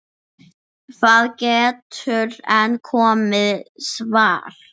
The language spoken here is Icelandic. Það getur enn komið svar!